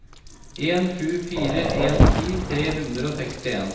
en sju fire en ti tre hundre og sekstien